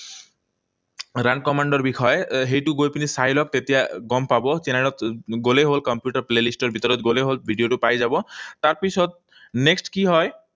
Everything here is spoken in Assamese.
Run command ৰ বিষয়ে। সেইটো গৈ পিনি চাই লওক, তেতিয়া গম পাব। চেনেলত গলেই হল, কম্পিউটাৰ playlist ৰ ভিতৰত গলেই হল, ভিডিঅটো পাই যাব। তাৰপিছত next কি হয়?